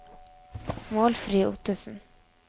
Målfrid Ottesen